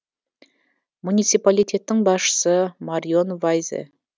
муниципалитеттің басшысы марион вайзе